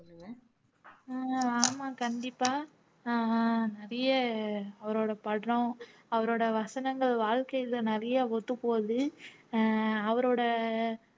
அஹ் ஆமாம் கண்டிப்பா அஹ் நிறைய அவரோட படம் அவரோட வசனங்கள் வாழ்க்கையில நிறைய ஒத்துப்போகுது அஹ் அவரோட